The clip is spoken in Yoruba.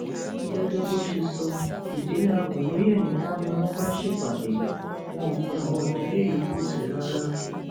gẹgẹ bó ṣe sọ ìdílé àgúnlóye nìkan ni wọn bá ṣèpàdé wọn ò pe àwọn ìdílé yòókù sí i rárá